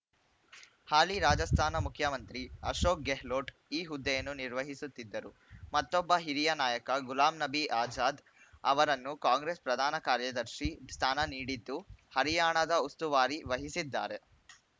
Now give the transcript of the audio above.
ಹಾಲಿ ರಾಜಸ್ಥಾನ ಮುಖ್ಯಮಂತ್ರಿ ಅಶೋಕ್‌ ಗೆಹ್ಲೋಟ್‌ ಈ ಹುದ್ದೆಯನ್ನು ನಿರ್ವಹಿಸುತ್ತಿದ್ದರು ಮತ್ತೊಬ್ಬ ಹಿರಿಯ ನಾಯಕ ಗುಲಾಂ ನಬಿ ಆಜಾದ್‌ ಅವರನ್ನು ಕಾಂಗ್ರೆಸ್‌ ಪ್ರಧಾನ ಕಾರ್ಯದರ್ಶಿ ಸ್ಥಾನ ನೀಡಿದ್ದು ಹರಿಯಾಣದ ಉಸ್ತುವಾರಿ ವಹಿಸಿದ್ದಾರೆ